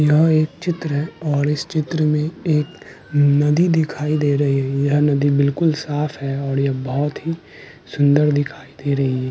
यह एक चित्र है और इस चित्र में एक नदी दिखाई दे रही है यह नदी बिलकुल साफ है और यह बहुत ही सुन्दर दिखाई दे रही है।